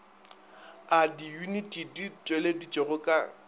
a diyuniti di tšweleditšwego ka